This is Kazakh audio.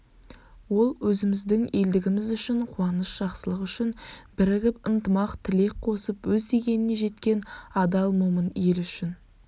ол өзіміздің елдігіміз үшін қуаныш жақсылық үшін бірігіп ынтымақ тілек қосып өз дегеніне жеткен адал момын ел үшін